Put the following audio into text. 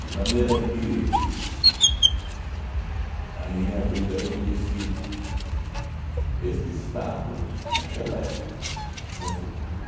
De maneira que a minha vida, eu conheci este estado naquela época. Eu estou